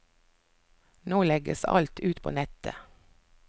Nå legges alt ut på nettet.